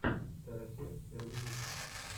теросер первый выпуск